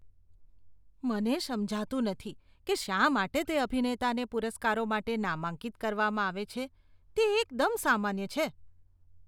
મને સમજાતું નથી કે શા માટે તે અભિનેતાને પુરસ્કારો માટે નામાંકિત કરવામાં આવે છે. તે એકદમ સામાન્ય છે.